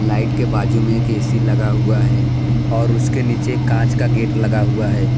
Light के बाजू में एक ए_सी लगा हुआ है और उसके नीचे कांच का गेट लगा हुआ है।